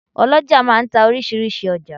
oloja máà ń ta orísirísi ọjà.